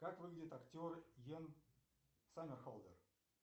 как выглядит актер йен сомерхолдер